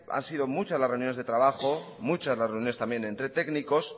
han sido muchas las reuniones de trabajo muchas las reuniones también entre técnicos